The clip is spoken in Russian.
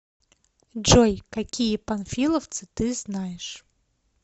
джой какие панфиловцы ты знаешь